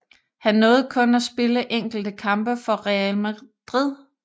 Han nåede kun at spille enkelte kampe for Real Madrid